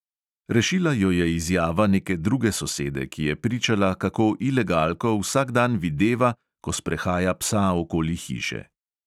Rešila jo je izjava neke druge sosede, ki je pričala, kako ilegalko vsak dan videva, ko sprehaja psa okoli hiše.